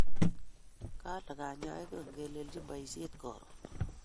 Kale kanyaik ingelelechin poishet karun .